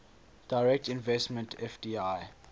direct investment fdi